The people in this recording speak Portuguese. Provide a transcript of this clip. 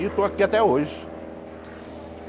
E estou aqui até hoje.